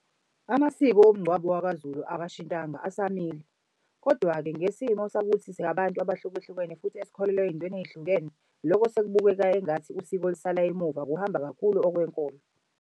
Amasiko womngcwabo wakaZulu akashintanga asamile. Kodwa-ke ngesimo sokuthi sabantu abahlukahlukene futhi esikholelwa ey'ntweni ey'hlukene loko sekubukeka engathi usiko lisala emuva kuhamba kakhulu okwenkolo.